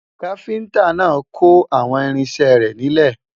kafinta nà kò àwọn irinṣẹ rè nílè